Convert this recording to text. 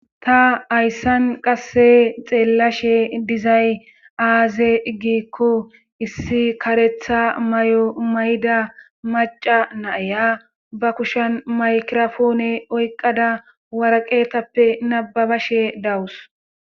Ta hayssan qasse xeellashe dizay aaze iggikko issi karetha may7o may7da maca naaya ba kushan maykirofoone oyqqada waraqeetappe nababashe dawus